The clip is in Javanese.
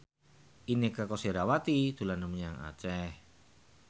Inneke Koesherawati dolan menyang Aceh